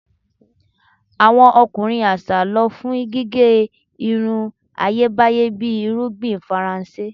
Awọn ọkunrin aṣa lọ fun gige irun Ayebaye bi irugbin Faranse